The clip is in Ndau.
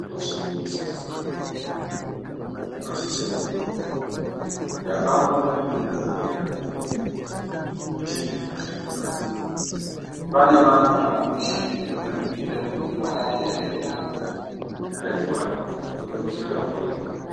Zveshe zvinoshandiswa muchibhedhlera zvinosise kunge zviripo. Ndakazoona imweni muntu eirapwa chirwere chisicho ngekuti muchini dzinoshandiswa adzipo. Pane antu anemuchini dzinoningira kuti malaria ere kana kuti mutachiwana wemukondombera ere.